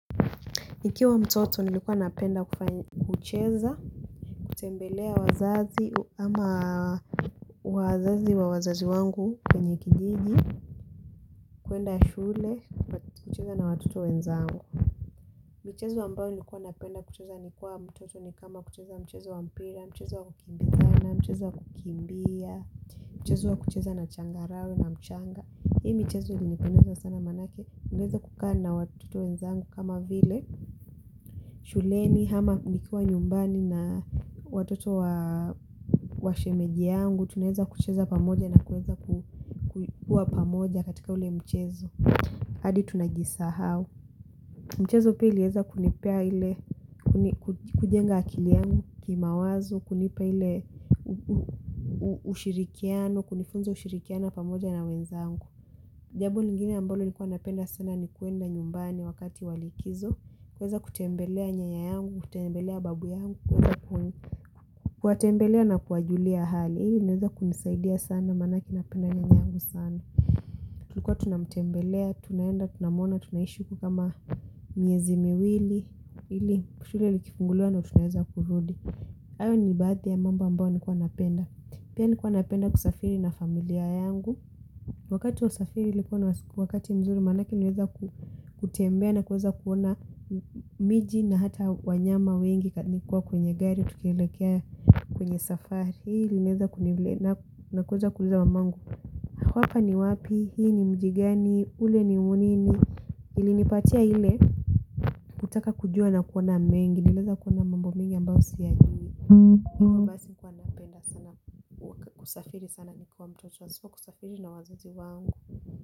Nikiwa mtoto nilikuwa napenda kufanya kucheza, kutembelea wazazi ama wazazi wa wazazi wangu kwenye kijiji, kuenda shule, kucheza na watoto wenzangu. Michezo ambayo nilikuwa napenda kucheza nikiwa mtoto ni kama kucheza mchezo wa mpira, mchezo wa kukimbizana, mchezo wa kukimbia, mchezo wa kucheza na changarawi na mchanga. Hii michezo ulinipendeza sana manake, niliweza kukaa na watoto wenzangu kama vile shuleni, ama nikiwa nyumbani na watoto wa shemeji yangu, tunaeza kucheza pamoja na kuweza kuwa pamoja katika ule mchezo, hadi tunajisahau. Mchezo pia iliweza kunipia ile, kujenga akili yangu kimawazo, kunipia ile ushirikiano, kunifunza ushirikiana pamoja na wenzangu. Jambo lingine ambalo nilikuwa napenda sana nikuenda nyumbani wakati walikizo. Kuweza kutembelea nyanya yangu, kutembelea babu yangu, kuwatembelea na kuwajulia hali. Hiyo iliweza kunisaidia sana manake napenda nyanya yangu sana. Kuwa tunamtembelea, tunaenda, tunamuona, tunaishi huko kama miezi miwili ili shule likifunguliwa ndiyo tunaeza kurudi hayo ni baadhi ya mambo ambayo nikuwa napenda. Pia nilikuwa napenda kusafiri na familia yangu. Wakati wa usafiri nilikuwa na wakati mzuri manake niliweza kutembea na kuweza kuona miji na hata wanyama wengi nikiwa kwenye gari, tukilekea kwenye safari. Hii niweza kunivle na kuweza kuweza wamangu hapa ni wapi, hii ni mji gani, ule ni unini, ilinipatia ile, kutaka kujua na kuona mengi, niliweza kuona mambo mingi ambayo siyajui. Mbasi huwa napenda sana kusafiri sana nikuwa mtoto, nisipo kusafiri na wazazi wangu.